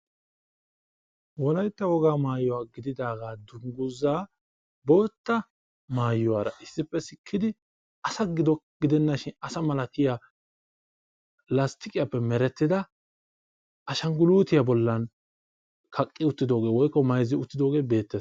Wolaytta wogaa maayuwa gididaaga dunguzaa bootta maayuwaara issippe sikkidi asa gidenna shin asa malatiya lastiqiyappe merettida ashanguluutiya bollan kaqqi utidooge woykko mayizzi uttidoogee beettees.